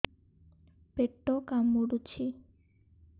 ପେଟ କାମୁଡୁଛି